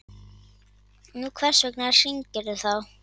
Nú, hvers vegna hringirðu þá?